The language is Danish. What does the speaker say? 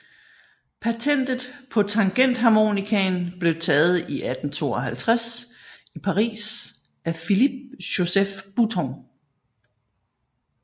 Patentet på tangentharmonikaen blev taget i 1852 i Paris af Philippe Joseph Bouton